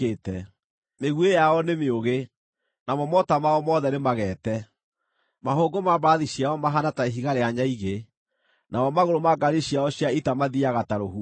Mĩguĩ yao nĩ mĩũgĩ, namo mota mao mothe nĩmageete; mahũngũ ma mbarathi ciao mahaana ta ihiga rĩa nyaigĩ, namo magũrũ ma ngaari ciao cia ita mathiiaga ta rũhuho.